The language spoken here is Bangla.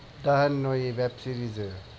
দাহান ঐ web series এ